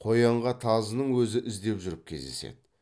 қоянға тазының өзі іздеп жүріп кездеседі